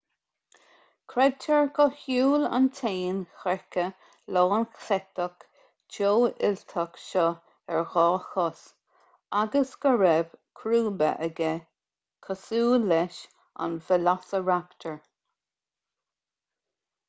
creidtear gur shiúil an t-éan creiche lánchleiteach teofhuilteach seo ar dhá chos agus go raibh crúba aige cosúil leis an veileasaraptar